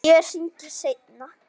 Ég hringi seinna.